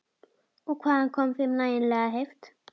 Og hvaðan kom þeim nægjanleg heift?